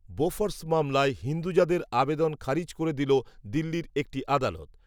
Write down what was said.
Bofors, মামলায় হিন্দুজাদের, আবেদন খারিজ করে দিল, দিল্লির, একটি, আদালত